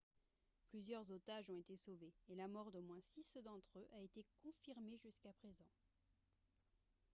plusieurs otages ont été sauvés et la mort d'au moins six d'entre eux a été confirmée jusqu'à présent